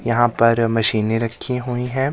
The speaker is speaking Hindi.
यहा पर मशीनें रखी हुई हैं।